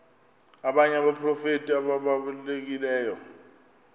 abanye abaprofeti ababalulekileyo